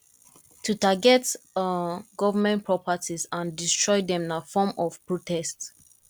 to target government um properties and destroy dem na form of protest